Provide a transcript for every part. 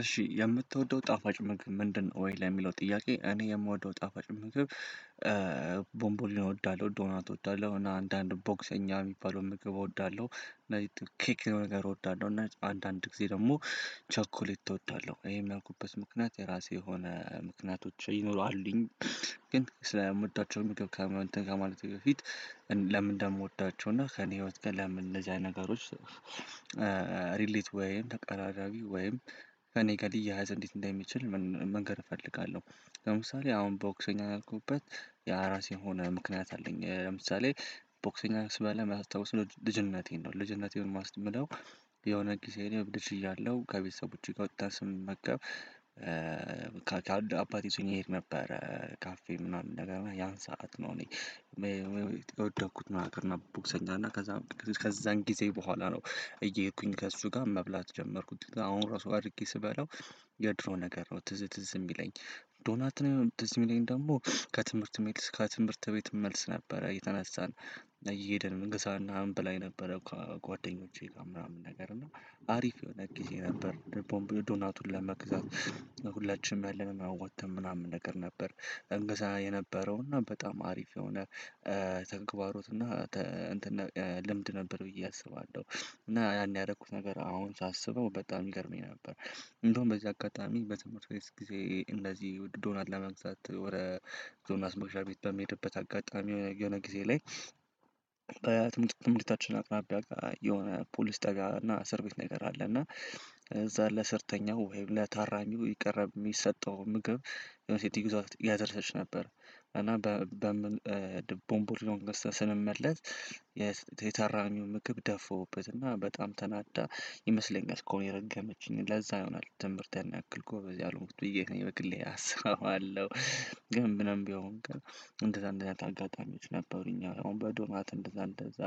እሺ የምትወደው ጣፋጭ ምግብ ምንድነው ወይ? ላይ የሚለው ጥያቄ እኔ የምወደው ጣፋጭ ምግብ ቦምቦሊኖ እወዳለሁ ዶናት እወዳለሁ እና አንዳንድ ቦክሰኛ የሚባለውን ምግብ እወዳለሁ። እነዚህ ኬክ የሆነ ነገር እወዳለሁ እና አንዳንድ ጊዜ ደግሞ ቸኮሌት እወዳለሁ ይሄን ያልኩበት ምክንያት የራሴ የሆነ ምክንያቶች ይኖሩ አሉኝ። ግን ስለምወዳቸው ምግብ እንትን ከማለቴ በፊት ለምን እንደምወዳቸው እና ከእኔ ህይወት ግን ለምን እንደዚህ አይነት ነገሮች ሪሌት ወይም ተቀራራቢ ወይም ከእኔ ጋር ሊያያዝ እንዴት እንደሚችል መንገር እፈልጋለሁ። ለምሳሌ አሁን ቦክሰኛ ያልኩበት የራሴ የሆነ ምክንያት አለኝ። ለምሳሌ ቦክሰኛ ስባላ የማስታውሰው ልጅነቴን ነው ልጅነቴን የማስተምለው የሆነ ጊዜ ላይ ልጅ እያለሁ ከቤተሰቦቼ ጋር ወጥታ ስንመገብ። አባቴ ይዞኝ ይሄድ ነበረ ካፌ ምናምን ነገር እና ያን ሰዓት ነው እኔ የወደድኩት ማለት ነው። ቦክሰኛ እና ከዛን ጊዜ በውኋላ ነው እየሄድኩኝ ከሱ ጋር መብላት የጀመርኩት እና አድርጌ ስበላው የድሮ ነገር ነው ትዝ ትዝ የሚለኝ። ዶናት ነው ትዝ የሚለኝ ደግሞ ከትምህርት ከትምህርት ቤት መልስ ነበረ እየተነሳን እየሄደን እንገዛ እና እንበላ የነበረው ከጓደኞቼ ጋር ምናምን ነገር እና አሪፍ የሆነ ጊዜ ነበር። ቦምብ ዶናቱን ለመግዛቱ ሁላችንም ያለንን አዋጥተን ምናምን ነገር ነበር እንገዛ የነበረው እና በጣም አሪፍ የሆነ ተንክባሮት እና ልምድ ነበር ብዬ አስባለሁ። እና ያኔ ያረኩት ነገር አሁን ሳስበው በጣም ይገርመኝ ነበር። እንደውም በዚህ አጋጣሚ በትምህርት ቤት ጊዜ እንደዚህ ዉድ ዶናት ለመግዛት ወረ ዞና አስሞሻ ቤት በሚሄድበት አጋጣሚ የሆነ ጊዜ ላይ በትምህርት ትምህርታችን አቅራቢያ የሆነ ፖሊስ ጣብያ እና እስር ቤት ነገር አለ። እና እዛ ለእሰርተኛው ወይም ለታራሚው ይቀር የሚሰጠው ምግብ የሆነ ሴትዮ ይዘዉት ያደርሰች ነበር። እና በምን ቦምቡር ነው ገዝተን ስንመለስ የታራሚ ምግብ ደፋውበትና በጣም ተናዳ ይመስለኛል እስካሁን የረገመችኝ ለዛ ይሆናል ትምህርት ያን ያክል ጎበዝ ያልሆንኩት ብዬ እኔ በግሌ አስባለሁ። ምንም ቢሆን ግን እንደዛ እንደዛ አይነት አጋጣሚዎች ነበሩኝ አሁን በዶናት እንደዛ እንደዛ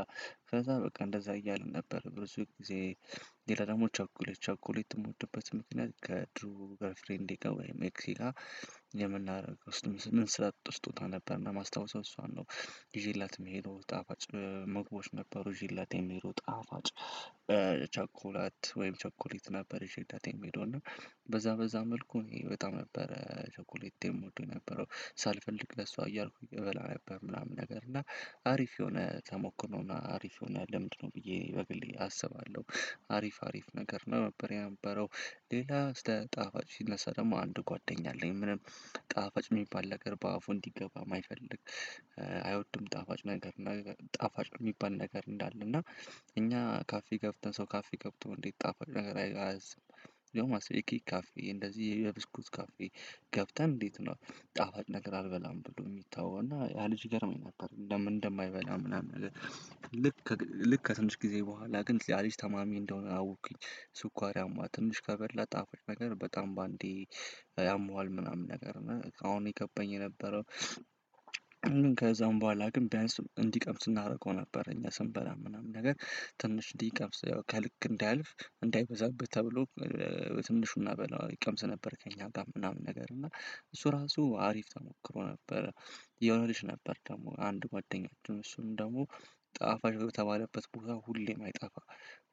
ከዛ በቃ እንደዛ እያልን ነበር ብዝይ ጊዜ ሌላ ደግሞ ቸኮሌ ቸኮሌት የምወድበት ምክንያት ከድሮ ገርል ፍሬዴ ጋር ወይም ኤክሴ ጋር ስትመስ ምንሰጣጠው ስጦታ ነበር እና ማስታዉሰው እሷን ነው ይዤላት የምሄደው ጣፋጭ ምግቦች ነበሩ። ይዤላት የምሄደው ጣፋጭ ቸኮላት ወይም ቸኮሌት ነበር ይዤላት የምሄደው እና በዛ መልኩ እኔ በጣም ነበር ቸኩሌት የምወደው የነበረው ሳልፈልግ ለሷ እያልኩኝ እበላ ነበር። ምናምን ነገር እና አሪፍ የሆነ ተሞክሮ እና አሪፍ የሆነ ልምንድ ነው ብዬ በግሌ አስባለሁ አሪፍ አሪፍ ነገር ነው ነበር። የነበረው ሌላ ስለ ጣፋጭ ሲነሳ ደግሞ አንድ ጓደኛ አለኝ ምንም ጣፋጭ የሚባል ነገር በአፉ እንዲገባ ማይፈልግ አይወድም። ጣፋጭ ነገር እና ጣፋጭ የሚባል ነገር እንዳለ እና እኛ ካፌ ገብተን ሰው ካፌ ገብተው እንዴት ጣፋጭ ነገር አያዝም ያውም አስበ የኬክ ካፌ እንደዚህ የብስኩት ካፌ ገብተን እንዴት ነው ጣፋጭ ነገር አልበላም ብሎ የሚተወው እና ያ ልጅ ይገርመኝ ነበር። እንደምን እንደማይበላ ምናምን ነገር ልክ ልክ ከትንሽ ጊዜ በኋላ ግን ያ ልጅ ታማሚ እንደሆነ አወቅኩኝ። ስኳር ያማዋል ትንሽ ከበላ ጣፋጭ ነገር በጣም በአንዴ ያሟል ምናምን ነገር ነው አሁን የገባኝ የነበረው። ከዛም በኋላ ግን ቢያንስ እንዲቀምስ እናደርገው ነበረ እኛ ስንበላ ምናምን ነገር ትንሽ እንዲቀምስ ከልክ እንዳያልፍ እንዳይበዛብህ ተብሎ ትንሹ ናበለው ይቀምስ ነበር ከእኛ ጋር ምናምን ነገር እና እሱ ራሱ አሪፍ ተሞክሮ ነበረ። የሆነ ልጅ ነበር ደግሞ አንዱ ጓደኛችን እሱም ደግሞ ጣፋጭ በተባለበት ቦታ ሁሌም አይጣፋ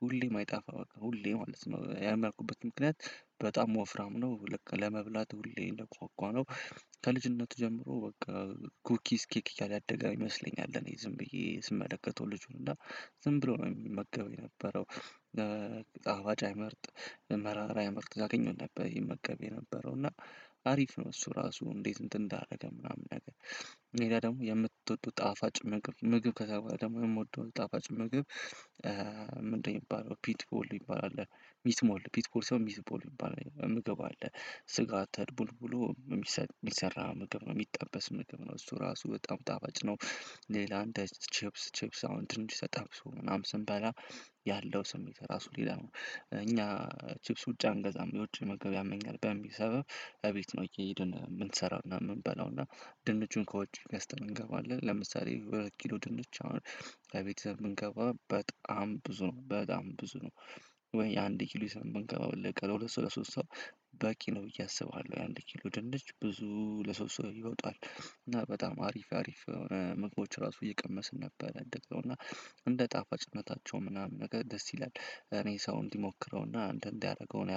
ሁሌም አይጣፋ በቃ ሁሌ ማለት ነው ያም ያልኩበት ምክንያት። በጣም ወፍራም ነው ልክ ለመብላት ሁሌ እንደጓጓ ነው ከልጅነቱ ጀምሮ በቃ ኩኪስ ኬክ እያለ ያደገ ይመስለኛል እኔ ዝም ብዬ ስመለከተው ልጁን እና ዝም ብሎ ነው የሚመገበው የነበረው አዋጅ አይመርጥ መራራ አይመርጥ ያገኘውን ነበር ይመገብ የነበረው እና አሪፍ ነው። እሱ ራሱ እንዴት እንትን እንዳደረገ ምናምን ነገር ሌላ ደግሞ የምትወደው ጣፋጭ ምግብ ምግብ ከተባለ ደግሞ የምወደው ጣፋጭ ምግብ። ምንድነው? የሚባለው ፒት ቦል ይባላል ሚትሞል ፒትቦል ሳይሆን ሚትቦል ሚባላል ምግብ አለ ስጋ ተድቦልቡሎ የሚሰራ ምግብ ነው የሚጠበስ ምግብ ነው እሱ ራሱ በጣም ጣፋጭ ነው። ሌላ እንደ ችፕስ ችፕስ አሁን ድንች ተጠብሶ ምናምን ስንበላ ያለው ስሜት ራሱ ሊላ ነው እኛ ቺፕስ ውጭ አንገዛም የውጭ መግብ ያመኛል በሚል ሰበብ እቤት ነው እየሄድን የምንሰራውና የምንበላውና ድንቹን ከውጭ ገስተን እንገባለን ለምሳሌ ወይ ኪሎ ድንች አሁን እቤት ይዘን ብንገባ በጣም ብዙ ነው በጣም ብዙ ነው። ወይ አንድ ኪሎ ይዘን በንገባ ወለቀ ለሁለት ሰው ለሶስት ሰው በቂ ነው ብዬ አስባለሁ የአንድ ኪሎ ድንች ብዙ ለሶስት ሰው ይወጣል። እና በጣም አሪፍ አሪፍ ምግቦች ራሱ እየቀመስን ነበር እንደው እና እንደ ጣፋጭነታቸው ምናምን ነገር ደስ ይላል እኔ ሰው እንዲሞክረውና እንትን ያረገው እኔ